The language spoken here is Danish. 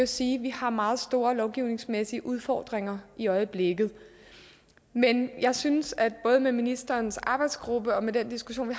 sige vi har meget store lovgivningsmæssige udfordringer i øjeblikket men jeg synes både med ministerens arbejdsgruppe og med den diskussion